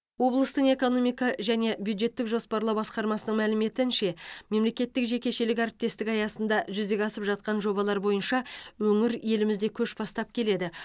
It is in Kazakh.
облыстың экономика және бюджеттік жоспарлау басқармасының мәліметінше мемлекеттік жекешелік әріптестік аясында жүзеге асып жатқан жобалар бойынша өңір елімізде көш бастап келеді